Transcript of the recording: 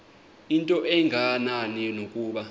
into engenani nokuba